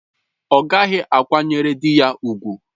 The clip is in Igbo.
Ọ ghaghị ịkwanyere di ya ùgwù!